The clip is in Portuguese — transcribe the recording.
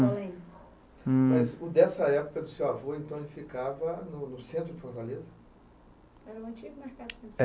hm. Mas o dessa época do seu avô, então, ele ficava no no centro de Fortaleza? Eu não tinha